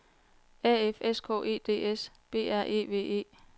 A F S K E D S B R E V E